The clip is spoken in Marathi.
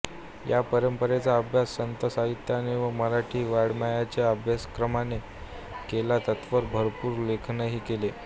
या परंपरेचा अभ्यास संत साहित्याचे व मराठी वाड्मयाचे अभ्यासकांनी केला त्यावर भरपूर लेखनही केले